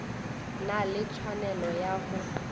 na le tshwanelo ya go